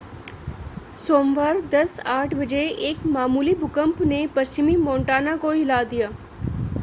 सोमवार 10:08 बजे एक मामूली भूकंप ने पश्चिमी मोंटाना को हिला दिया